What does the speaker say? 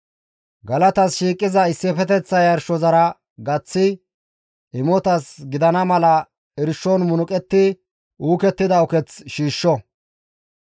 Galatas shiiqiza issifeteththa yarshozara gaththi imotas gidana mala irshon munuqetti uukettida uketh shiishsho.